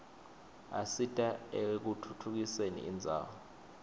asita ekutfutfukiseni indzawo